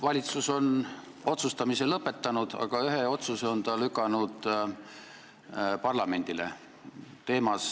Valitsus on otsustamise lõpetanud, aga ühe otsuse on ta lükanud parlamendile.